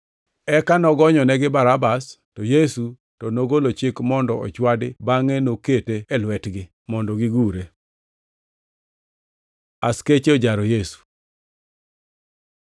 Eka nogonyonegi Barabas, to Yesu to nogolo chik mondo ochwadi bangʼe nokete e lwetgi mondo gigure. Askeche ojaro Yesu